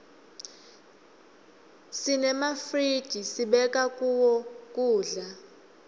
senemafizij sibeka kuwo kudza